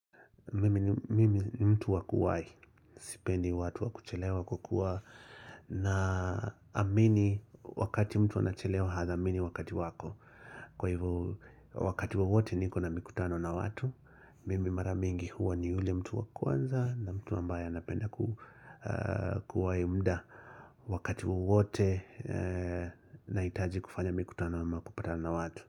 Mimi ni mtu wa kuwahi, sipendi watu wa kuchelewa kwa kuwa naamini wakati mtu anachelewa hathamini wakati wako. Kwa hivyo wakati wowote niko na mikutano na watu, mimi mara mingi huwa ni yule mtu wa kwanza na mtu ambaye anapenda kuwahi muda wakati wowote nahitaji kufanya mikutano ama kupatana watu.